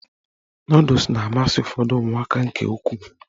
Nọdụs na-amasị ụfọdụ ụmụaka nke ukwuu